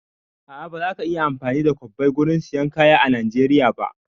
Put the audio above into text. A'a, ba za ka iya amfani da kwabbai gurin sayan kaya a Najeriya ba